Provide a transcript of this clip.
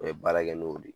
U ye baara kɛ n'o de ye